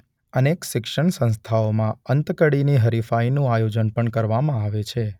અનેક શિક્ષણ સંસ્થાઓમાં અંતકડીની હરીફાઇનું આયોજન પણ કરવામાં આવે છે.